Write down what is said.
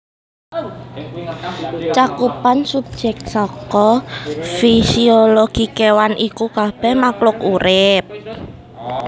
Cakupan subjek saka fisiologi kéwan iku kabèh makhluk urip